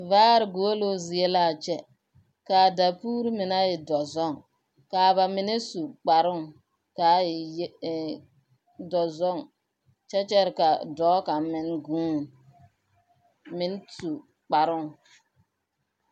Vaar guoluu zie laa kyɛ. Kaa dakuuri me na e dɔzɔŋ. Kaa ba mine su kparoŋ kaa e ye ee dɔzɔŋ. Kyɛ kyɛre ka dɔɔ kaŋ meŋ gūū meŋ su kparoŋ.